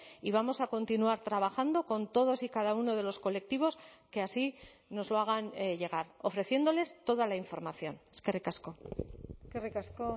y vamos a continuar trabajando con todos y cada uno de los colectivos que así nos lo hagan llegar ofreciéndoles toda la información eskerrik asko eskerrik asko